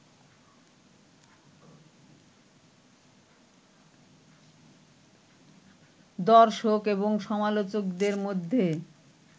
দর্শক এবং সমালোচকদের মধ্যে